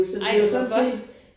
Ej hvor godt!